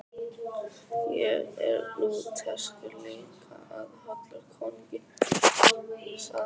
Ég er Lúterskur líka og hollur konungi, sagði hann.